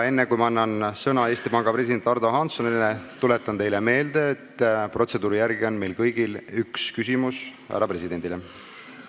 Enne kui ma annan sõna Eesti Panga presidendile Ardo Hanssonile, tuletan teile meelde, et protseduuri järgi on meil kõigil võimalik esitada härra presidendile üks küsimus.